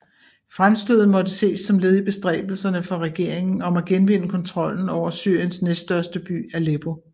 Fremstødet måtte ses som led i bestræbelserne for regeringen om at genvinde kontrollen over Syriens næststørste by Aleppo